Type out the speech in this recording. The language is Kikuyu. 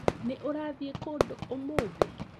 Nĩ ũrathii kũndũ ũmũthĩ?